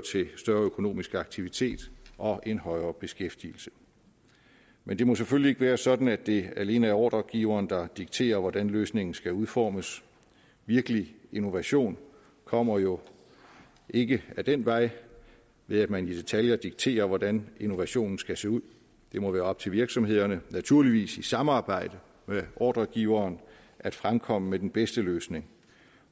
til større økonomisk aktivitet og en højere beskæftigelse men det må selvfølgelig ikke være sådan at det alene er ordregiveren der dikterer hvordan løsningen skal udformes virkelig innovation kommer jo ikke ad den vej ved at man i detaljer dikterer hvordan innovationen skal se ud det må være op til virksomhederne naturligvis i samarbejde med ordregiveren at fremkomme med den bedste løsning